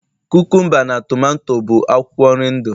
kukumba na tomato bụ akwụkwọ nri ndu